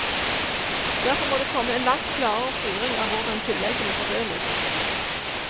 Derfor må det komme en langt klarere styring av hvordan tilleggene fordeles.